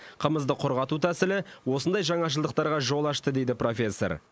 қымызды құрғату тәсілі осындай жаңашылдықтарға жол ашты дейді профессор